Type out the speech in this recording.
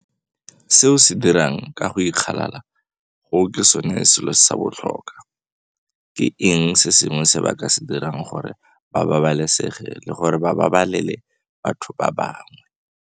Se o se dirang ka go ikgalala go ke sone selo sa botlhokwa. Ke eng se sengwe se ba ka se dirang gore ba babalesege le gore ba babalele batho ba bangwe?